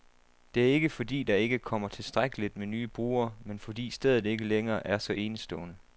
Det er ikke, fordi der ikke kommer tilstrækkeligt med nye brugere, men fordi stedet ikke længere er så enestående.